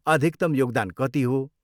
अधिकतम योगदान कति हो?